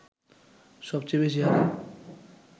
সবচেয়ে বেশি হারে